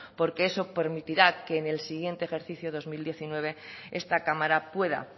porque eso permitirá que en el siguiente ejercicio dos mil diecinueve esta cámara pueda